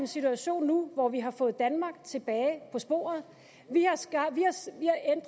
situation nu hvor vi har fået danmark tilbage på sporet vi